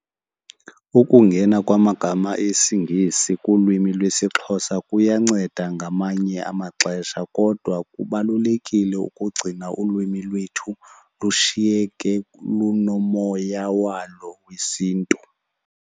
Ukungena kwamagama esiNgesi kulwimi lwesiXhosa kuyanceda ngamanye amaxesha kodwa kubalulekile ukugcina ulwimi lwethu lushiyeke lunomoya walo wesiNtu.